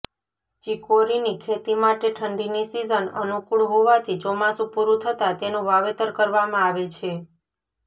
ચિકોરીની ખેતી માટે ઠંડીની સીઝન અનુકુળ હોવાથી ચોમાસું પુરું થતાં એનું વાવેતર કરવામાં આવે છે